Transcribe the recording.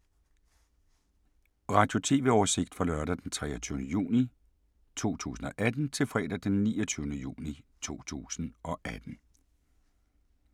Radio/TV oversigt fra lørdag d. 23. juni 2018 til fredag d. 29. juni 2018